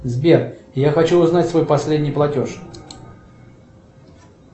сбер я хочу узнать свой последний платеж